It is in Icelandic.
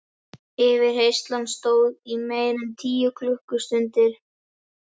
Yfirheyrslan stóð í meira en tíu klukkustundir.